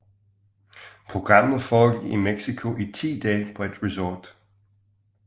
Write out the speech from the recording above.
Programmet forgik i Mexico i 10 dage på et resort